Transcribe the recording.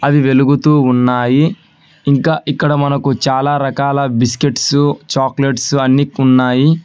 అది వెలుగుతూ ఉన్నాయి ఇంకా ఇక్కడ మనకు చాలా రకాల బిస్కెట్స్ చాక్లెట్స్ అన్ని ఉన్నాయి.